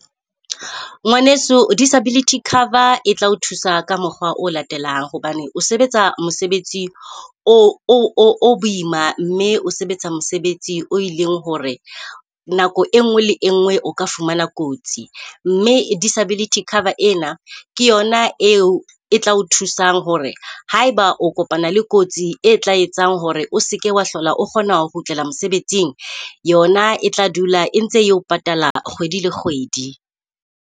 Ngwaneso disability cover e tla o thusa ka mokgwa o latelang hobane o sebetsa mosebetsi o boima o o o boima mme o sebetsa mosebetsi o e leng hore nako e nngwe le engwe o ka fumana kotsi. Mme disability cover ena ke yona eo e tla o thusang hore haeba o kopana le kotsi e tla etsang hore o seke wa hlola o kgona ho kgutlela mosebetsing. Yona e tla dula e ntse e patala kgwedi le kgwedi.